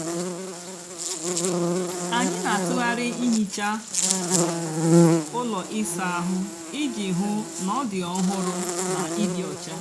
ányị nà-àtụgharị íhíchá úló ịsá áhụ́ íjì hú ná ọ dị ọhụrụ nà ịdị ọcha.